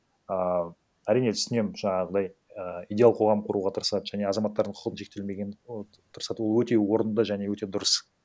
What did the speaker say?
ыыы әрине түсінемін жаңағыдай і идеал қоғам құруға тырысады және азаматтардың құқы шектелмеген тырысады ол өте орынды және өте дұрыс